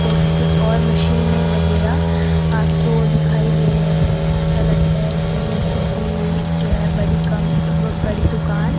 जैसे कुछ और मशीनें वगैरा आपको दिखाई दे रहीं है ऐसा लगता है की किसी जो है बड़ी कंप बड़ी दुकान --